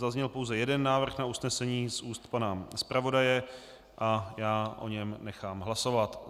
Zazněl pouze jeden návrh na usnesení z úst pana zpravodaje a já o něm nechám hlasovat.